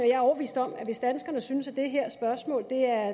jeg er overbevist om at hvis danskerne synes at det her spørgsmål er